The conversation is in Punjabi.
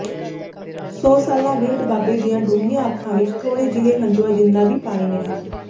ਸੌ ਸਾਲਾਂ ਬਿਰਧ ਬਾਬੇ ਦੀਆਂ ਡੂੰਘੀਆਂ ਅੱਖਾਂ ਵਿੱਚ ਥੋੜ੍ਹੇ ਜਿਹੇ ਹੰਝੂਆਂ ਜਿੰਨਾ ਵੀ ਪਾਣੀ ਨਹੀਂ